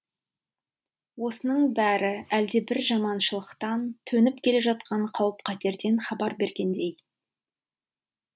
осының бәрі әлдебір жаманшылықтан төніп келе жатқан қауіп қатерден хабар бергендей